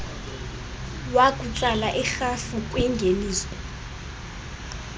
wokutsala irhafu kwingeniso